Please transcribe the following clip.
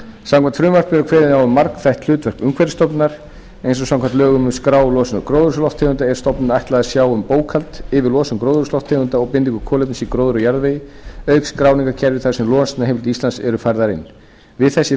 samkvæmt frumvarpinu er kveðið á um margþætt hlutverk umhverfisstofnunar eins og samkvæmt lögum um að skrá losun gróðurhúsalofttegunda er stofnuninni ætlað að sjá um bókhald yfir losun gróðurhúsalofttegunda og bindingu kolefnis í gróðri og jarðvegi auk skráningarkerfisins þar sem losunarheimildir íslands eru færðar inn við þessi